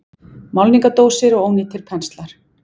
Málningardósir og ónýtir penslar.